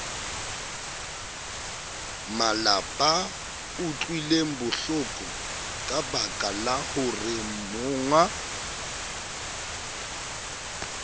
malapaa utlwilengbohloko kabaka la horeemongwa